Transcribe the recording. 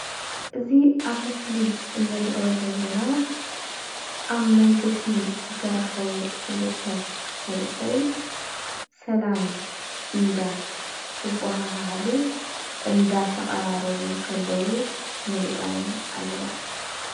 እዚ ኣብ ምስሊ እንርእዮ ዘለና ኣብ መንገዲ ዝተራከቡ ክልተ መንእሰይ ሰላም እንዳተበሃሃሉ እንዳተቀራረቡ እንከለዉ ንርእዮም ኣለና።